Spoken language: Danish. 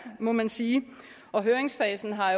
må man sige og høringsfasen har